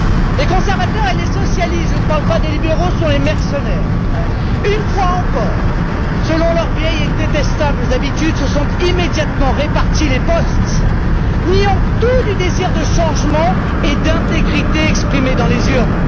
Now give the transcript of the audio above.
Les conservateurs et les socialistes je ne parle pas des libéraux, ce sont les mercenaires une fois encore, selon leurs vieilles et détestables habitudes se sont immédiatement répartis les postes, niant tout du désir de changement et d'intégrité exprimé dans les urnes.